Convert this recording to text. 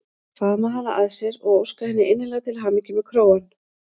Faðma hana að sér og óska henni innilega til hamingju með krógann.